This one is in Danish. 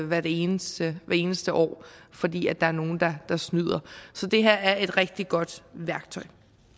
hvert eneste eneste år fordi der er nogle der snyder så det her er et rigtig godt værktøj